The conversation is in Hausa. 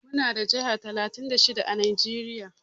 Muna da jihar talatin da shida à Najeriya.